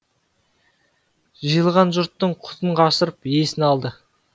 жиылған жұрттың құтын қашырып есін алды